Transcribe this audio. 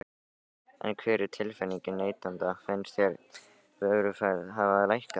En hver er tilfinningin neytenda, finnst þeim vöruverð hafa lækkað?